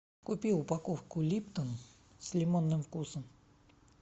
купи упаковку липтон с лимонным вкусом